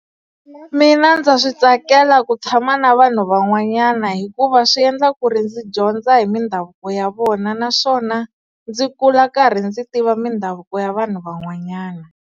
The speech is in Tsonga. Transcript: Mina ndza swi tsakela ku tshama na vanhu van'wanyana hikuva swi endla ku ri ndzi dyondza hi mindhavuko ya vona naswona, ndzi kula karhi ndzi tiva mindhavuko ya vanhu van'wanyana.